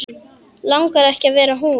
Langar ekki að vera hún.